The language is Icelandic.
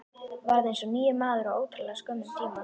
Varð eins og nýr maður á ótrúlega skömmum tíma.